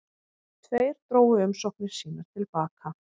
Tveir drógu umsóknir sínar til baka